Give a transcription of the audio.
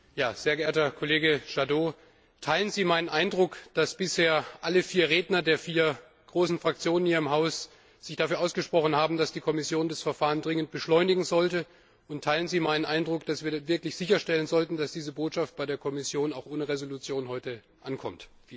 Herr Präsident! Sehr geehrter Kollege Jadot! Teilen Sie meinen Eindruck, dass sich bisher alle vier Redner der vier großen Fraktionen hier im Haus dafür ausgesprochen haben, dass die Kommission das Verfahren dringend beschleunigen sollte, und teilen Sie meinen Eindruck, dass wir wirklich sicherstellen sollten, dass diese Botschaft bei der Kommission auch ohne Entschließung heute ankommt?